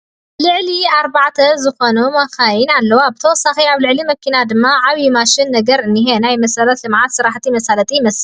ልዕሊ ኣርባዕተ ዝኾና መኻኺን ኣለዋ ብተወሳኺ ኣብ ልዕሊ መኪና ድማ ዓብይ ማሽን ነገር እንሄ ፣ ናይ መሰረተ ልምዓት ስራሕቲ መሳለጢ ይመስል ።